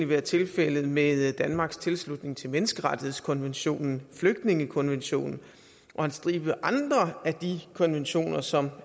været tilfældet med danmarks tilslutning til menneskerettighedskonventionen flygtningekonventionen og en stribe andre af de konventioner som